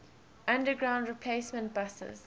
underground replacement buses